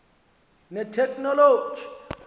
neteknoloji